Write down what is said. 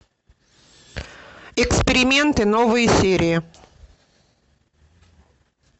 эксперименты новые серии